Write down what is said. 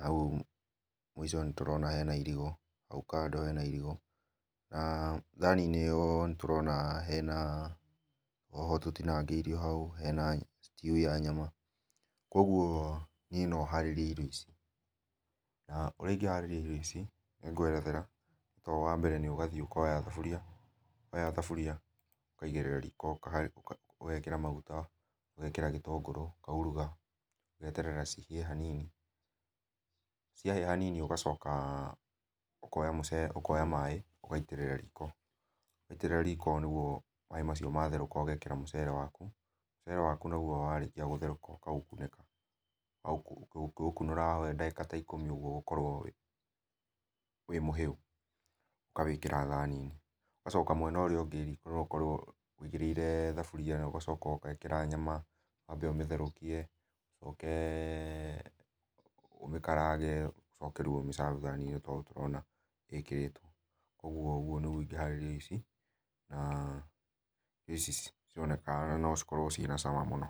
hau mũico nĩtũrona hena irigũ, hau kando hena irigũ. N thani-inĩ ĩyo nĩtũrona hena, hoho tũtĩnangĩirio hau, hena stew ya nyama. Koguo niĩ no harĩrie irio ici. Na ũrĩa ingĩharĩria irio ici nĩ ngwerethera. Tondũ wambere nĩ ũgathiĩ ũkoya thaburia, woya thaburia ukaigĩrĩra riko ũgekĩra maguta, ũgekĩra gĩtũngurũ, ũkauruga, ũgeterera cihĩe o hanini, ciahĩa hanini ũgacoka ukoya maĩ ũgaitĩrĩra riko. Waitĩrĩra riko nĩguo maĩ macio matherũka ũgekĩra mũcere waku. Mucere waku naguo warĩkia gũtherũka ũkaũkunĩka. Ũngĩũkunũra waũhe dagĩka ta ikũmi ũguo ũgũkorwo wĩ mũhĩu. Ũkawĩkĩra thani-inĩ. Ũgacoka mwena ũria ũngĩ riko noũ korwo ũigĩrĩire thaburia iyo ũgacoka ũgekĩra nyama, wambe ũmĩtherũkie, ũcoke ũmĩkarange, ũcoke rĩũ ũmĩcabanie ta ũ tũrona ĩkĩrĩtwo. Koguo ũguo nĩguo ĩngĩharĩria irio ici, na irio ici cironeka no cikorwo ciĩna cama mũno.